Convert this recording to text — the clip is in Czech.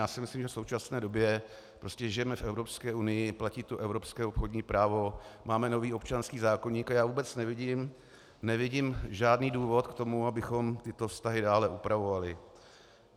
Já si myslím, že v současné době žijeme v Evropské unii, platí tu evropské obchodní právo, máme nový občanský zákoník, a já vůbec nevidím žádný důvod k tomu, abychom tyto vztahy dále upravovali.